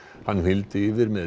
hann hylmdi yfir með